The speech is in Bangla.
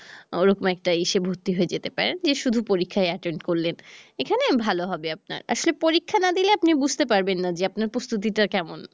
ওরকম একটা ইসে ভর্তি হয়ে যেতে পারেন যে শুধু পরিক্ষায় attend করলেন এখানেও ভাল হবে আপনার, আসলে পরীক্ষা না দিলে আপনি বুঝতে পারবেন না যে আপনার প্রস্তুতি টা কেমন